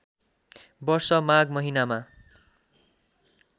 वर्ष माघ महिनामा